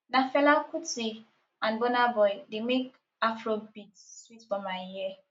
na fela kuti and burna boy dey make afrobeat sweet for my ear